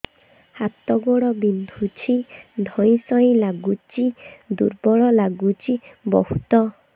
ହାତ ଗୋଡ ବିନ୍ଧୁଛି ଧଇଁସଇଁ ଲାଗୁଚି ଦୁର୍ବଳ ଲାଗୁଚି ବହୁତ